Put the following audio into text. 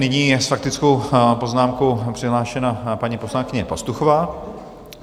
Nyní je s faktickou poznámkou přihlášena paní poslankyně Pastuchová.